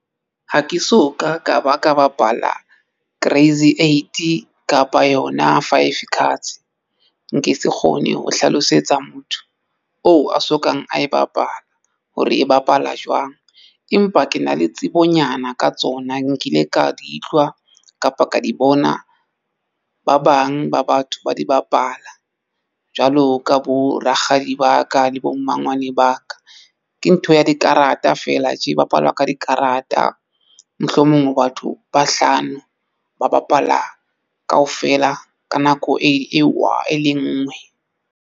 Ha ke so ka ka ba ka bapala Crazy eight kapa yona Five cards. Nke se kgone ho hlalosetsa motho oo a sokang a e bapala hore e bapala jwang, empa ke na le tsebonyana ka tsona nkile ka di utlwa kapa ka di bona ba bang ba batho ba di bapala jwalo ka bo rakgadi ba ka di le bo mmangwane ba ka. Ke ntho ya dikarata, fela tje e bapalwa ka dikarata. Mohlomong o batho ba hlano ba bapala kaofela ka nako eo e le ngwe.